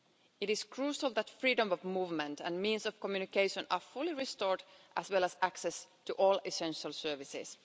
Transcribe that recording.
It is crucial that freedom of movement and means of communication are fully restored, as well as access to all essential services.